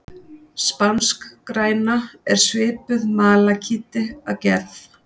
Spanskgræna er svipuð malakíti að gerð.